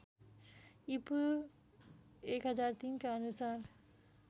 ईपू १००३ का अनुसार